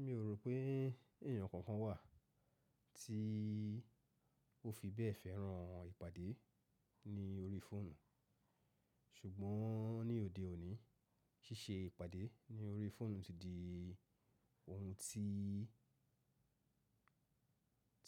Mi ò rò pé ènìyàn kankan wà tí ó fi bẹ́ẹ̀ fẹ́ràn ìpàdé ní orí fóònù, ṣùgbọ́n ní òde òní ṣíṣe ìpàdé ní orí fóònù ti di ohun tí,